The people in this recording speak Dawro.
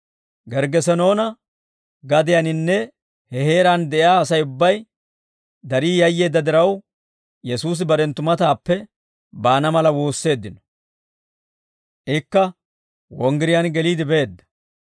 Gerggesenoona gadiyaaninne he heeraan de'iyaa Asay ubbay darii yayyeedda diraw, Yesuusi barenttu matappe baana mala woosseeddino. Ikka wonggiriyaan geliide beedda.